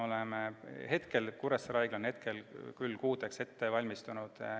Kuressaare Haigla on hetkel küll mitmeks kuuks kriisiks ette valmistunud.